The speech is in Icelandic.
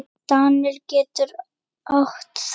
Daníel getur átt við